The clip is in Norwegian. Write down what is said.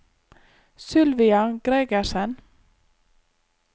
Sylvia Gregersen